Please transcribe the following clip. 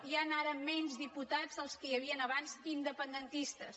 hi han ara menys diputats dels que hi havien abans independentistes